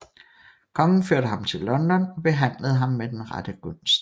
Kongen førte ham til London og behandlede ham med rette gunst